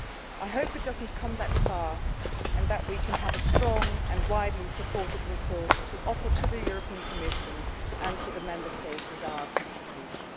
I hope it does not go that far and that we can have a strong and widely supported report to offer to the Commission and to the Member States as our contribution.